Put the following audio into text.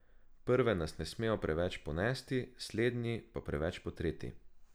Prve nas ne smejo preveč ponesti, slednji pa preveč potreti.